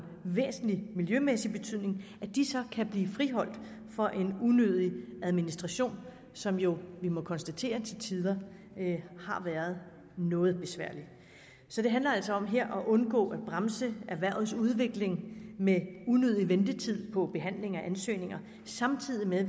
væsentlig miljømæssig betydning kan blive friholdt for en unødig administration som vi jo må konstatere til tider har været noget besværlig så det handler altså her om at undgå at bremse erhvervets udvikling med unødig ventetid på behandling af ansøgninger samtidig med at